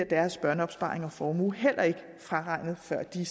deres børneopsparing og formue bliver heller ikke fraregnet før de